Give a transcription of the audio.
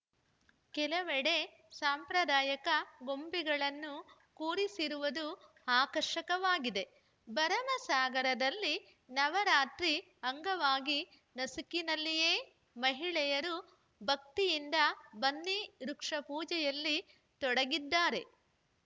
ಕೆಲವೆಡೆ ಸಾಂಪ್ರದಾಯಕ ಗೊಂಬೆಗಳನ್ನು ಕೂರಿಸಿರುವುದು ಆಕರ್ಷಕವಾಗಿದೆ ಭರಮಸಾಗರದಲ್ಲಿ ನವರಾತ್ರಿ ಅಂಗವಾಗಿ ನಸುಕಿನಲ್ಲಿಯೇ ಮಹಿಳೆಯರು ಭಕ್ತಿಯಿಂದ ಬನ್ನಿ ವೃಕ್ಷ ಪೂಜೆಯಲ್ಲಿ ತೊಡಗಿದ್ದಾರೆ